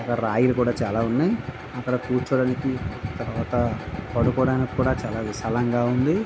ఇక్కడ రాళ్లులు కూడా చాలా ఉన్నాయి అక్కడ క్రుచోడానికి తరువాత పడుకోడానికి కూడా చాలా విశాలముగా ఉంది.